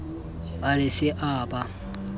a re se a ba